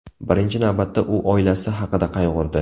Birinchi navbatda u oilasi haqida qayg‘urdi.